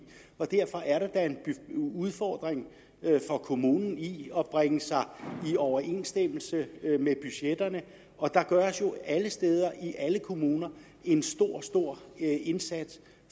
og derfor er der da en udfordring for kommunen i at bringe sig i overensstemmelse med budgetterne og der gøres jo alle steder i alle kommuner en stor stor indsats